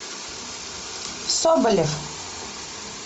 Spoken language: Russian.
соболев